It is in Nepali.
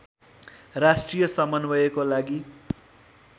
राष्ट्रिय समन्वयको लागि